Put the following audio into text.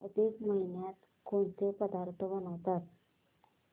अधिक महिन्यात कोणते पदार्थ बनवतात